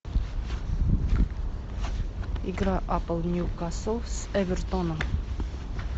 игра апл ньюкасл с эвертоном